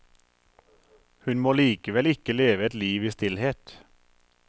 Hun må likevel ikke leve et liv i stillhet.